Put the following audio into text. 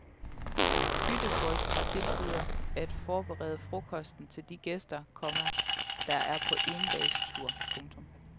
Hyttefolkene tilbyder at forberede frokosten til de gæster, komma der er på endagstur. punktum